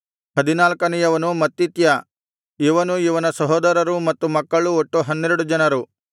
ಹದಿನಾಲ್ಕನೆಯವನು ಮತ್ತಿತ್ಯ ಇವನೂ ಇವನ ಸಹೋದರರೂ ಮತ್ತು ಮಕ್ಕಳೂ ಒಟ್ಟು ಹನ್ನೆರಡು ಜನರು